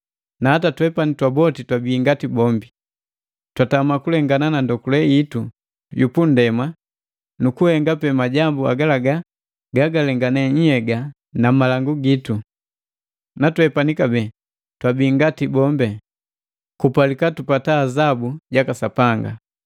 Na hata twepani twaboti twabii ngati bombi, twatama kulengana na ndokule itu yu pundema nukuhenga pe majambu agalaga gagalengane nhyega na malangu gitu. Na twepani kabee twabii ngati bombi, twapalika azabu jaka Sapanga.